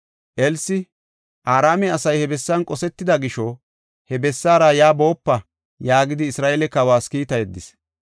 Elsi, “Araame asay he bessan qosetida gisho, he bessaara yaa boopa” yaagidi Isra7eele kawas kiitta yeddis.